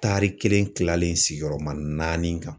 Taari kelen kilalen sigiyɔrɔma naani kan.